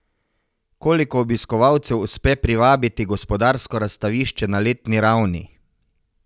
Koliko obiskovalcev uspe privabiti Gospodarsko razstavišče na letni ravni?